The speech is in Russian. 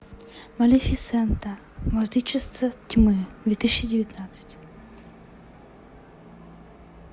малефисента владычица тьмы две тысячи девятнадцать